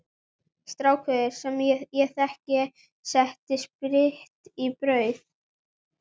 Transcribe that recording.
Strákur sem ég þekki setti spritt í brauð.